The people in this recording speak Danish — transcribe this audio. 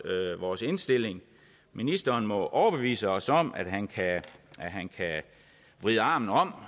vores indstilling ministeren må overbevise os om at han kan vride armen om